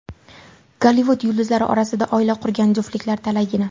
Gollivud yulduzlari orasida oila qurgan juftliklar talaygina.